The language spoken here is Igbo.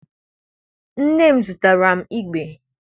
Nne m goteere m igbe.